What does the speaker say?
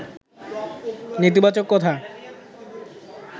নেতিবাচক কথা